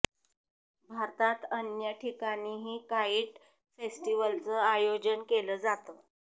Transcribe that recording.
भारतात अन्य ठिकाणीही काईट फेस्टिव्हलचं आयोजन केलं जातं